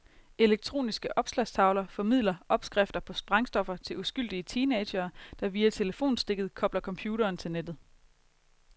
Elektroniske opslagstavler formidler opskrifter på sprængstoffer til uskyldige teenagere, der via telefonstikket kobler computeren til nettet.